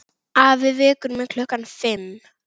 Afi vekur mig klukkan fimm.